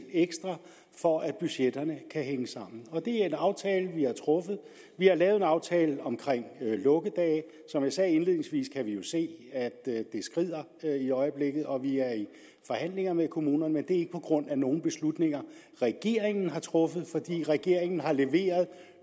for at budgetterne kan hænge sammen og det er en aftale vi har truffet vi har lavet en aftale om lukkedage som jeg sagde indledningsvis kan vi jo se at det skrider i øjeblikket og vi er i forhandling med kommunerne men det er ikke på grund af nogle beslutninger regeringen har truffet for regeringen har leveret